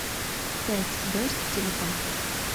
пять звезд телефон